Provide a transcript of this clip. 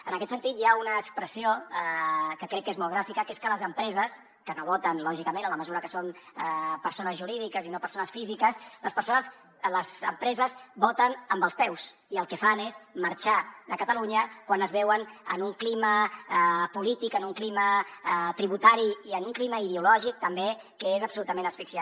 en aquest sentit hi ha una expressió que crec que és molt gràfica que és que les empreses que no voten lògicament en la mesura que són persones jurídiques i no persones físiques voten amb els peus i el que fan és marxar de catalunya quan es veuen en un clima polític en un clima tributari i en un clima ideològic també que és absolutament asfixiant